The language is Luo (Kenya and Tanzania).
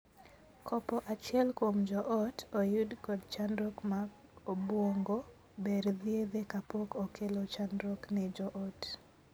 Kopo achiel kuom joot oyud kod chandruok mag obuongo, ber thiedhe kapok okelo chandruok ne joot.